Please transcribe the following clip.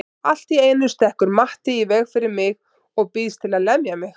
Allt í einu stekkur Matti í veg fyrir mig og býðst til að lemja mig.